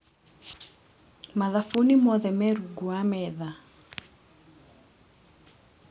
Mathabuni mothe me rungu wa metha.